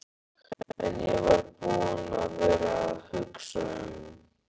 En ég var búinn að vera að hugsa um.